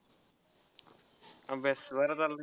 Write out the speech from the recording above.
अभ्यास बरा चाललाय.